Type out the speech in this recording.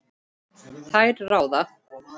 Þær ráða.